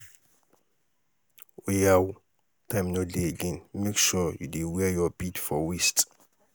oya ooo time no dey again make sure you dey wear your bead for waist.